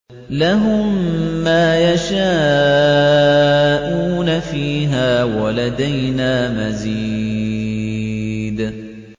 لَهُم مَّا يَشَاءُونَ فِيهَا وَلَدَيْنَا مَزِيدٌ